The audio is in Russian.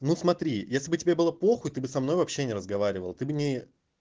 ну смотри если бы тебе было похуй ты бы со мной вообще не разговаривал ты б не